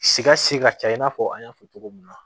Sika si ka ca i n'a fɔ an y'a fɔ cogo min na